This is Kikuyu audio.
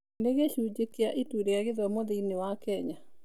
Nĩ gĩcunjĩ kĩa Ituu rĩa Gĩthomo thĩinĩ wa Kenya.